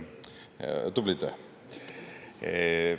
Tublid!